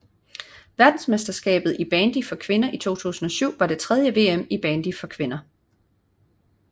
Verdensmesterskabet i bandy for kvinder 2007 var det tredje VM i bandy for kvinder